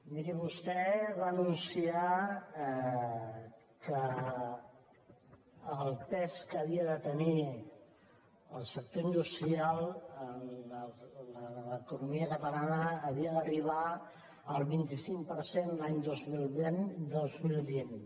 miri vostè va anunciar que el pes que havia de tenir el sector industrial en l’economia catalana havia d’arribar al vint cinc per cent l’any dos mil vint